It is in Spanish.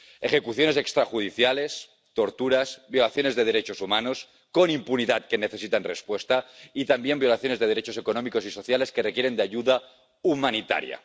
ejecuciones extrajudiciales, torturas, violaciones de derechos humanos —con impunidad— que necesitan respuesta, y también violaciones de derechos económicos y sociales que requieren de ayuda humanitaria.